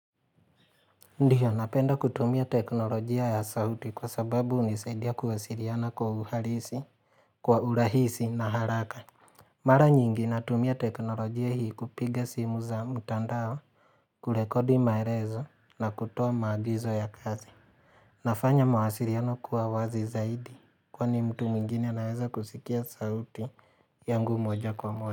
Ndiyo napenda kutumia teknolojia ya sauti kwa sababu hunisaidia kuwasiliana kwa uhalisi, kwa urahisi na haraka. Mara nyingi natumia teknolojia hii kupiga simu za mtandao, kurekodi maelezo na kutoa maagizo ya kazi. Nafanya mawasiliano kuwa wazi zaidi kwani mtu mwingine anaweza kusikia sauti yangu moja kwa moja.